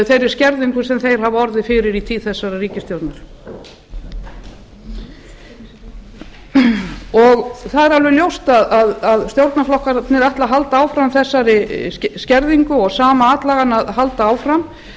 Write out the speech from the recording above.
þeirri skerðingu sem þeir hafa orðið fyrir í tíð þessarar ríkisstjórnar ljóst er að stjórnarflokkarnir ætla að halda áfram þessari skerðingu og sama atlagan að halda áfram ef